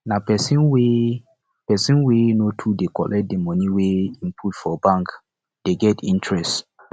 na pesin wey pesin wey no dey too collect di moni wey im put for bank dey get interest